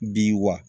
Bi wa